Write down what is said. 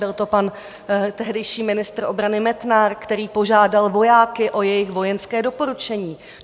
Byl to pan tehdejší ministr obrany Metnar, který požádal vojáky o jejich vojenské doporučení.